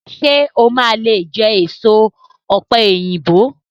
Ṣé o máa lé jẹ èso ọ̀pẹ̀yìnbo?